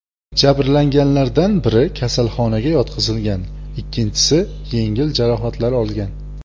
Jabrlanganlardan biri kasalxonaga yotqizilgan, ikkinchisi yengil jarohatlar olgan.